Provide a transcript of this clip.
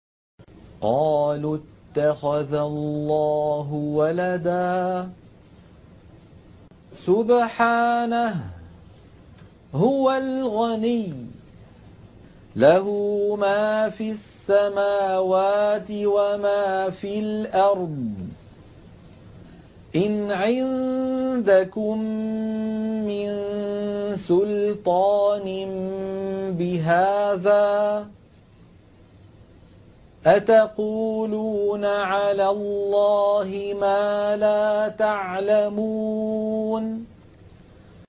قَالُوا اتَّخَذَ اللَّهُ وَلَدًا ۗ سُبْحَانَهُ ۖ هُوَ الْغَنِيُّ ۖ لَهُ مَا فِي السَّمَاوَاتِ وَمَا فِي الْأَرْضِ ۚ إِنْ عِندَكُم مِّن سُلْطَانٍ بِهَٰذَا ۚ أَتَقُولُونَ عَلَى اللَّهِ مَا لَا تَعْلَمُونَ